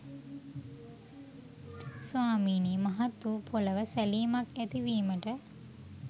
ස්වාමීනී මහත් වූ පොළොව සැලීමක් ඇතිවීමට